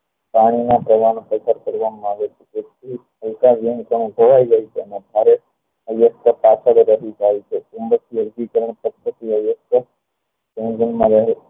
પાણી નો પરવાહ પરચર કરવામાં આવે છે તેથી હલકા વિનહ ખોવાઈ જે છે એમાં ભારે ચુંબકીય અર્ગીકરણ પદ્ધતિ ઓ